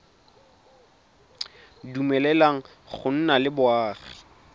dumeleleng go nna le boagi